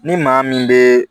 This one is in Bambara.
Ni maa min bɛ